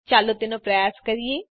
ચાલો તેનો પ્રયાસ કરીએ